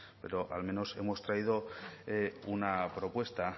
pero al menos hemos traído una propuesta